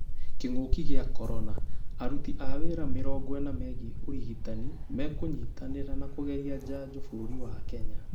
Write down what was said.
Kĩng'oki gĩa korona: aruti a wĩra mĩrongo ĩna megĩĩ ũrigitani mekunyitanĩra na kũgeria njanjo bũrũri wa Kenya